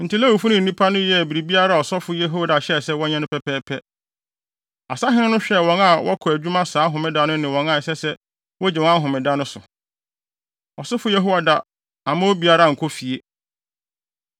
Enti Lewifo no ne nnipa no yɛɛ biribiara a ɔsɔfo Yehoiada hyɛɛ sɛ wɔnyɛ no pɛpɛɛpɛ. Asahene no hwɛɛ wɔn a wɔkɔ adwuma saa Homeda no ne wɔn a ɛsɛ sɛ wogye wɔn ahome da no so. Ɔsɔfo Yehoiada amma obiara ankɔ fie.